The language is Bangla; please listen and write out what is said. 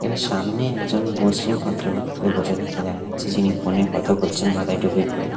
এদের সামনে একজন মুসলিম ভদ্রলোক বসে থাকতে দেখা যাচ্ছে যিনি ফোন -এ কথা বলছেন মাথায় টুপি পরে।